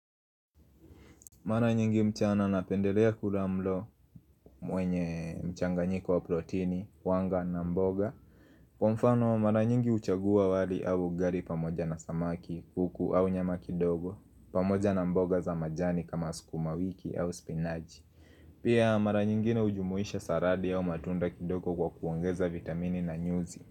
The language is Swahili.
Mara nyingi mchana na pendelea kula mlo mwenye mchanganyiko wa proteini, wanga na mboga Kwa mfano mara nyingi uchagua wali au ugali pamoja na samaki, kuku au nyama kidogo pamoja na mboga za majani kama sukuma wiki au spinaji Pia mara nyingi na ujumuisha saradi au matunda kidogo kwa kuongeza vitamini na nyuzi.